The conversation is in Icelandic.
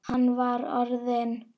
Hann var orðinn.